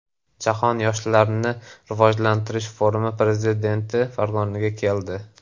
Jahon yoshlarni rivojlantirish forumi prezidenti Farg‘onaga keldi.